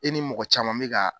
E ni mɔgɔ caman bɛ ka